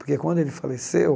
Porque quando ele faleceu,